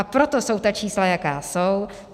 A proto jsou ta čísla, jaká jsou.